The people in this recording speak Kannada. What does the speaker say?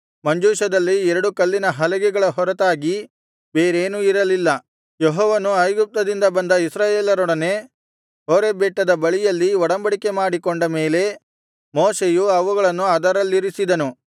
ಮಂಜೂಷದಲ್ಲಿ ಎರಡು ಕಲ್ಲಿನ ಹಲಿಗೆಗಳ ಹೊರತಾಗಿ ಬೇರೇನೂ ಇರಲಿಲ್ಲ ಯೆಹೋವನು ಐಗುಪ್ತದಿಂದ ಬಂದ ಇಸ್ರಾಯೇಲರೊಡನೆ ಹೋರೇಬ್ ಬೆಟ್ಟದ ಬಳಿಯಲ್ಲಿ ಒಡಂಬಡಿಕೆ ಮಾಡಿಕೊಂಡ ಮೇಲೆ ಮೋಶೆಯು ಅವುಗಳನ್ನು ಅದರಲ್ಲಿರಿಸಿದನು